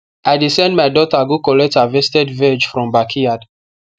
i dey send my daughter go collect harvested veg from backyard